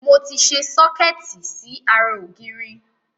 Mo ti sẹ sọ́kẹ́ẹ́tì sí ara ògiri.